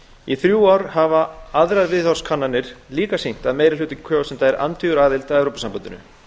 í þrjú ár hafa aðrar viðhorfskannanir líka sýnt að meiri hluti kjósenda er andvígur aðild að evrópusambandinu